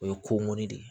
O ye ko ŋɔni de ye